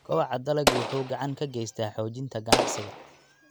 Kobaca dalaggu waxa uu gacan ka geystaa xoojinta ganacsiga.